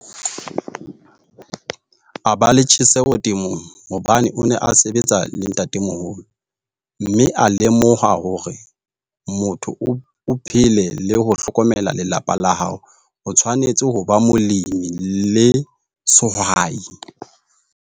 A ba le tjheseho temong hobane o ne a sebetsa le ntataemoholo, mme a lemoha hore motho o phele le ho hlokomela lelapa la hao, o tshwanetse ho ba molemi le sehwai.